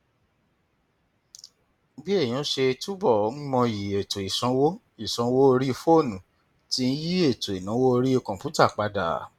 bí èèyàn ṣe túbọ ń mọyì ètò ìsanwó ìsanwó orí fóònù ti ń yí ètò ìnáwó orí kọǹpútà padà